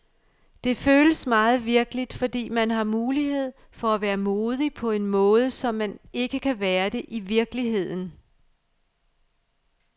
Det føles meget virkeligt, fordi man har mulighed for at være modig på en måde, som man ikke kan være det i virkeligheden.